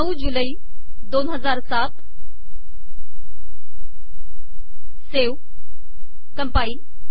९ जुलै २००७ save compile